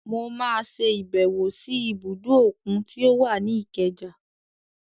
Mọ máa ṣe ìbẹ̀wò sí ibùdó òkun tí ó wà ní Ikeja.